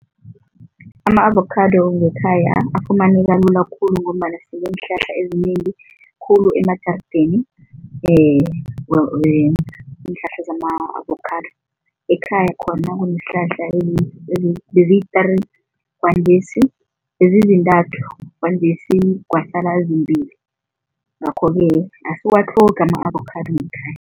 Ama-avokhado ngekhaya afumaneka lula khulu ngombana sineenhlahla ezinengi khulu emajarideni iinhlahla zama-avokhado. Ekhaya khona kuneenhlahla beziyi-three kwanjesi bezizintathu kwanjesi kwasala ezimbili, ngakho-ke asiwatlhogi ama-avokhado ngekhaya.